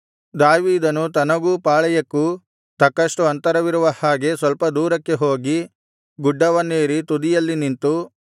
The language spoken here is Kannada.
ದಾವೀದನು ತನಗೂ ಪಾಳೆಯಕ್ಕೂ ತಕ್ಕಷ್ಟು ಅಂತರವಿರುವ ಹಾಗೆ ಸ್ವಲ್ಪ ದೂರಕ್ಕೆ ಹೋಗಿ ಗುಡ್ಡವನ್ನೇರಿ ತುದಿಯಲ್ಲಿ ನಿಂತು